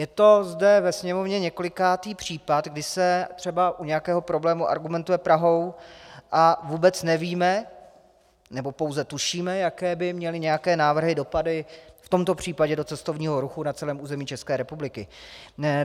Je to zde ve Sněmovně několikátý případ, kdy se třeba u nějakého problému argumentuje Prahou, a vůbec nevíme, nebo pouze tušíme, jaké by měly nějaké návrhy dopady v tomto případě do cestovního ruchu na celém území České republiky.